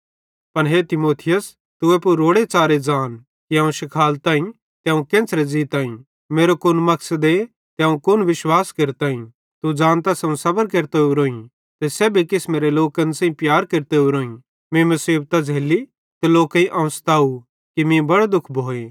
पन हे तीमुथियुस तू एप्पू रोड़े च़ारे ज़ान कि अवं शिखालताईं ते अवं केन्च़रे ज़ीताईं ते मेरो कुन मकसदे ते अवं कुन विश्वास केरताईं तू ज़ानतस अवं सबर केरतो ओरोईं ते सेब्भी किसमेरे लोकन सेइं प्यार केरतो ओरोईं मीं मुसीबतां झ़ैल्ली ते लोकेईं अवं स्तव कि मीं बड़ो दुःख भोए